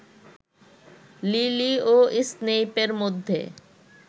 lily ও স্নেইপের মধ্যে